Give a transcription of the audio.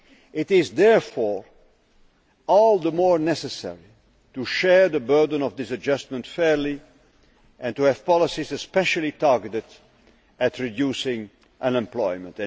It is therefore all the more necessary to share the burden of this adjustment fairly and to have policies especially targeted at reducing unemployment.